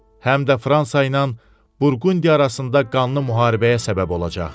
Həm də Fransa ilə Burqundiya arasında qanlı müharibəyə səbəb olacaq.